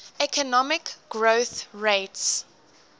economic growth rates